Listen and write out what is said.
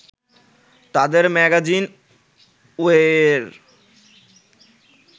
তাদের ম্যাগাজিন ওয়ে-র